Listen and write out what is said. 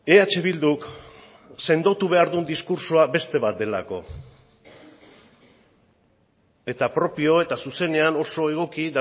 eh bilduk sendotu behar duen diskurtsoa beste bat delako eta propio eta zuzenean oso egoki